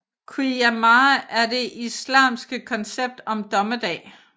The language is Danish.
Qiyâmah er det islamske koncept om dommedag